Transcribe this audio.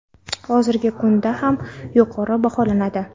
Hozirgi kunda ham yuqori baholanadi.